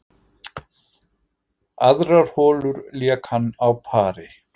Aðrar holur lék hann á pari